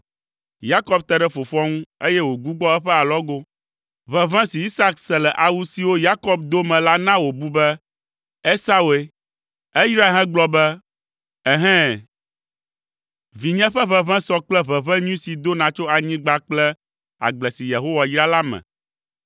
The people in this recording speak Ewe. Yakob te ɖe fofoa ŋu, eye wògbugbɔ eƒe alɔgo. Ʋeʋẽ si Isak se le awu siwo Yakob do me la na wòbu be Esaue. Eyrae hegblɔ be, “Ehɛ̃, Vinye ƒe ʋeʋẽ sɔ kple ʋeʋẽ nyui si dona tso anyigba kple agble si Yehowa yra la ene.